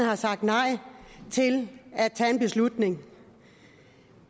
har sagt nej til at tage en beslutning